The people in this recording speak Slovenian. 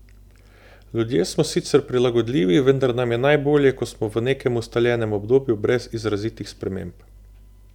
Ljudje smo sicer prilagodljivi, vendar nam je najbolje, ko smo v nekem ustaljenem obdobju brez izrazitih sprememb.